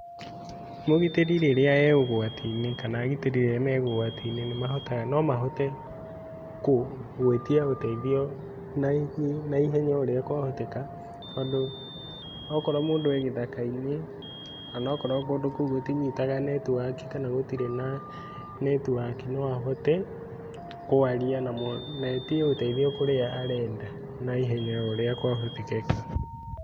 Mũgitĩri rĩrĩa e ũgwati-inĩ kana agitĩrĩ rĩrĩa me ũgwati-inĩ nĩmahotaga nomahote kũ gũĩtia ũteithio na ihenya oũrĩa kwahoteka tondũ okorwo mũndũ e gĩthaka-inĩ onokorwo kũndũ kũu gũtinyitaga netiwaki kana gũtirĩ na netiwaki noaote kwaria na mũndũ netie ũteithio ũrĩa arenda naetie ũteithio na ihenya o ũrĩa kwahoteka.